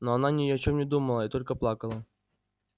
но она ни о чем не думала и только плакала